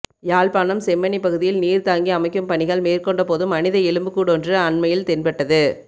யாழ்ப்பாணம் செம்மணிப் பகுதியில் நீர்தாங்கி அமைக்கும் பணிகள் மேற்கோண்டபோது மனித எலும்புக்கூடொன்று அண்மையில் தென்பட்டது